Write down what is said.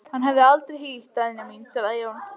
Hann hef ég aldrei hýtt, Daðína mín, svaraði Jón.